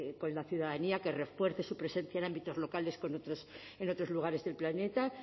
con con la ciudadanía que refuerce su presencia en ámbitos locales con otros en otros lugares del planeta